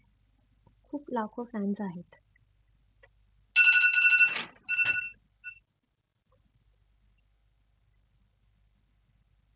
खूप लाखो fans आहेत.